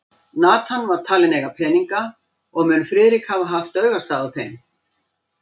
Nathan var talinn eiga peninga, og mun Friðrik hafa haft augastað á þeim.